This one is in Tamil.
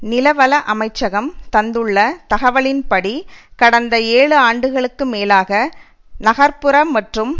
நிலவள அமைச்சகம் தந்துள்ள தகவலின்படி கடந்த ஏழு ஆண்டுகளுக்கு மேலாக நகர்புறம் மற்றும்